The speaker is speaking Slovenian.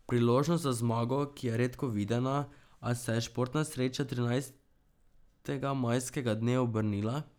Priložnost za zmago, ki je redko videna, a se je športna sreča trinajstega majskega dne obrnila.